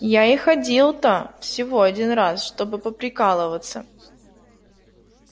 я и ходил-то всего один раз чтобы поприкалываться